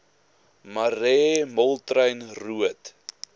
marais moltrein roodt